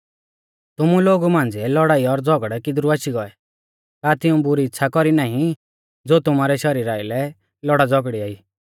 तुमु लोगु मांझ़िऐ लौड़ाई और झ़ौगड़ै किदरु आशी गौऐ का तिऊं बुरै इच़्छ़ा कौरी नाईं ज़ो तुमारै शरीरा आइलै लौड़ाझ़ौगड़िया ई